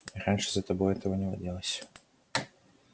раньше за тобой этого не водилось